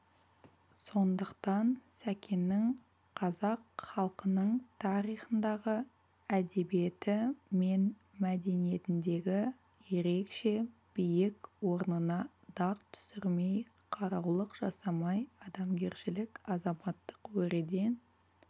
сондықтан сәкеннің қазақ халқының тарихындағы әдебиеті мен мәдениетіндегі ерекше биік орнына дақ түсірмей қараулық жасамай адамгершілік азаматтық өреден